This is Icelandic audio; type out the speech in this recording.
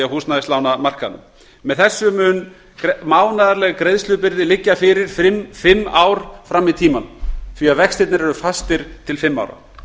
húsnæðislánamarkaðnum með þessu mun mánaðarleg greiðslubyrði liggja fyrir fimm ár fram í tímann því að vextirnir eru fastir til fimm ára